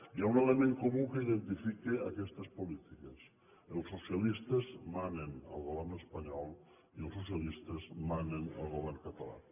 hi ha un element comú que identifica aquestes polítiques els socialistes manen al govern espanyol i els socialistes manen al govern català